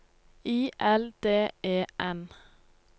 I L D E N